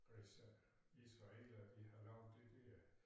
Hvis øh israelerne de har lavet de dér